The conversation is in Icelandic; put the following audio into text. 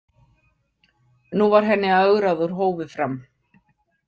Nú var henni ögrað úr hófi fram.